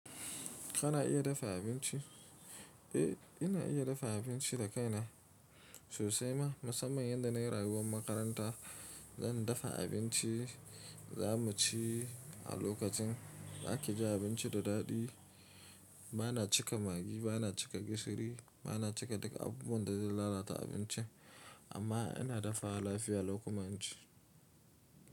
Kana iya dafa abinci? Eh, ina iya dafa abinci da kaina sosai ma. Musamman yanda nai rayuwan makaranta. Zan dafa abinci, za mu ci a lokacin da ake jin abinci da daɗi. Ba na cika Maggi, ba na cika gishiri, ba na cika duk abubuwan da zai lalata abinci. Amma ina dafawa lafiya lau kuma in ci.